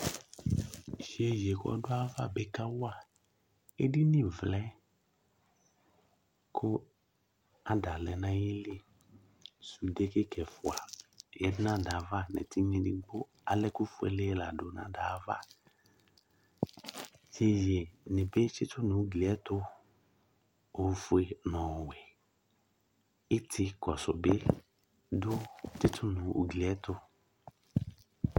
Iyeye wa dʋ ayava bɩ kawa edini vlɛ ,kʋ ada lɛ nayili; sʋnde inetse ɛfʋa ala ɛkʋ fuele